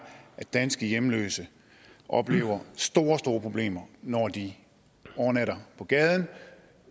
at danske hjemløse oplever store store problemer når de overnatter på gaden